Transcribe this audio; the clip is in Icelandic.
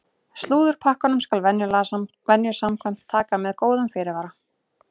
Slúðurpakkann skal venju samkvæmt taka með góðum fyrirvara!